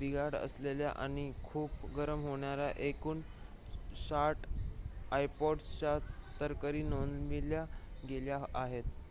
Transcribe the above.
बिघाड असलेल्या आणि खूप गरम होणाऱ्या एकूण ६० ipods च्या तक्रारी नोंदवल्या गेल्या आहेत